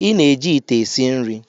Ị na-eji ite esi nri